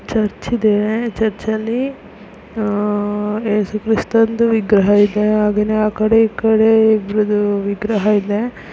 Church ಇದೆ church ಅಲ್ಲಿ ಆಹ್ ಯೇಸು ಕ್ರಿಸ್ತದು ವಿಗ್ರಹ ಇದೆ ಹಾಗೇನೇ ಆಕಡೆ ಈಕಡೆ ಇಬ್ಬರದು ವಿಗ್ರಹ ಇದೆ.